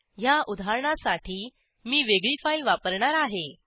ह्या उदाहरणासाठी मी वेगळी फाईल वापरणार आहे